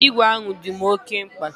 Ee, igwe ahụ dim oke mkpa.